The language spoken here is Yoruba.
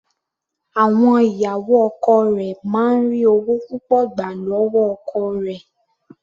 Àwọn ìyàwó ọkọ rẹ̀ máa ń ri ọwọ́ púpọ̀ gbà lọ́wọ́ ọkọ rẹ̀.